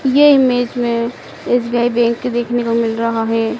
ये इमेज़ में SBI bank देखने को मिल रहा है।